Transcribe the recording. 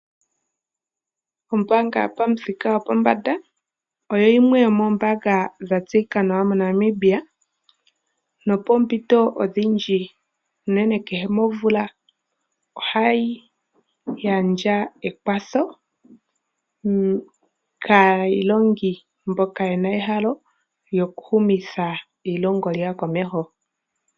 Ombaanga yopamuthika gwopombanda oyo yimwe yomoombaanga dha tseyika nawa moNamibia nopoompito odhindji unene kehe momvula ohayi gandja ekwatho kaayilongi mboka ye na ehalo lyokuhumitha eilongo lyawo komeho.